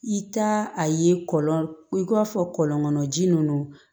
I ta a ye kɔlɔn i k'a fɔ kɔlɔn kɔnɔ ji ninnu